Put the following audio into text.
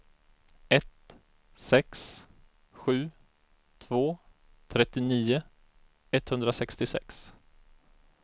ett sex sju två trettionio etthundrasextiosex